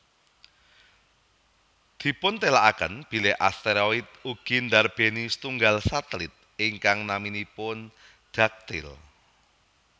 Dipuntelaaken bilih asteroid ugi ndarbéni setunggal satelit ingkang naminipun Dactyl